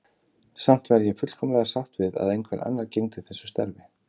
Samt væri ég fullkomlega sátt við að einhver annar gegndi þessu starfi.